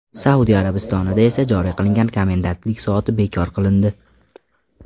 Saudiya Arabistonida esa joriy qilingan komendantlik soati bekor qilindi .